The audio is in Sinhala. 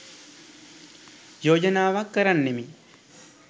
යෝජනාවක් කරන්නෙමි.